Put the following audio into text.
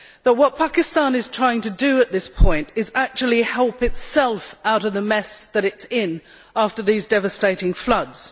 What Pakistan is trying to do at this point is actually to help itself out of the mess that it is in after the devastating floods.